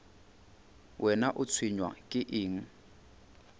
wena o tshwenywa ke eng